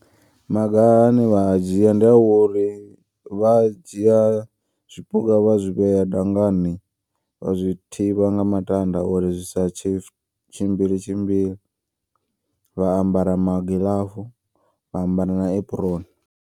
Maga ane vha a dzhia ndi a uri vha dzhia zwipuka vha zwivhea dangani. Vha zwi thivha nga matanda uri zwisa tshi tshimbile tshimbile vha ambara magiḽafu vha ambara na apron.